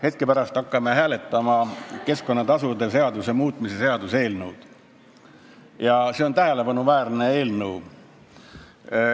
Hetke pärast hakkame hääletama keskkonnatasude seaduse muutmise seaduse eelnõu ja see on tähelepanuväärne eelnõu.